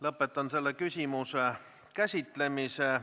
Lõpetan selle küsimuse käsitlemise.